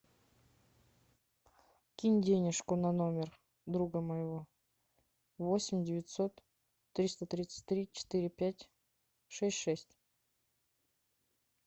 кинь денежку на номер друга моего восемь девятьсот триста тридцать три четыре пять шесть шесть